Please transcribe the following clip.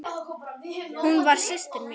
Hún var systir mín.